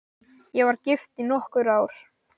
Ég var gift í nokkur ár.